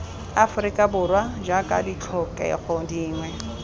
aforika borwa jaaka ditlhokego dingwe